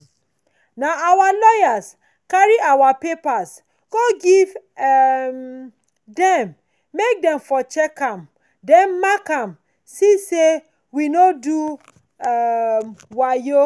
nah our lawyer carry our land papers go give um dem make them for check am den mark am see say we no do um wayo